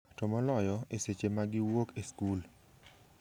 To moloyo, e seche ma giwuok e skul.